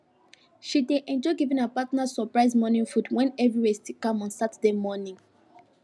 she dey enjoy giving her partner surprise morning food when everywhere still calm on saturday morning